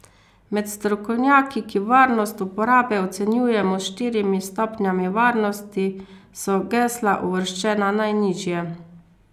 Med strokovnjaki, ki varnost uporabe ocenjujemo s štirimi stopnjami varnosti, so gesla uvrščena najnižje.